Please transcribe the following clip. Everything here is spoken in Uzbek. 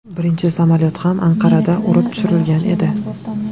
Birinchi samolyot ham Anqarada urib tushirilgan edi.